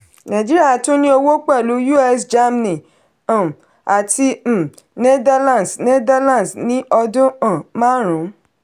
nàìjíríà tún ní òwò pẹ̀lú us germany um àti um netherlands netherlands ní ọdún um márùn.